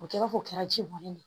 O kɛ i b'a fɔ o kɛra ji bɔ ne ye